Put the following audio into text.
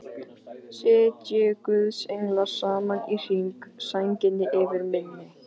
Sitji guðs englar saman í hring, sænginni yfir minni.